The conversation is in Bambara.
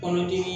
Kɔnɔdimi